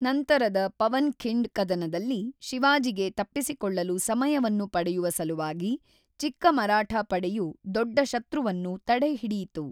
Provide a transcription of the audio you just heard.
ನಂತರದ ಪವನ್ ಖಿಂಡ್ ಕದನದಲ್ಲಿ, ಶಿವಾಜಿಗೆ ತಪ್ಪಿಸಿಕೊಳ್ಳಲು ಸಮಯವನ್ನು ಪಡೆಯವ ಸಲುವಾಗಿ ಚಿಕ್ಕ ಮರಾಠ ಪಡೆಯು ದೊಡ್ಡ ಶತ್ರುವನ್ನು ತಡೆಹಿಡಿಯಿತು.